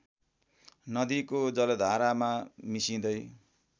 नदीको जलधारामा मिसिँदै